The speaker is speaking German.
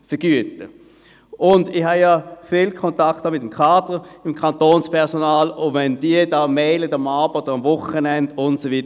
Ich habe ja viel Kontakt mit dem Kader des Kantonspersonals – wenn diese E-Mails schreiben, abends oder am Wochenende und so weiter.